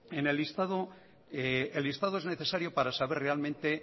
el listado es necesario para saber realmente